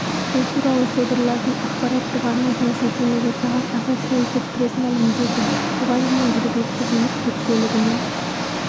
бұл туралы содырлардың ақпараттық арнасына сілтеме жасаған ассошиэйтед пресс мәлімдеді бұған дейін жергілікті билік жүк көлігімен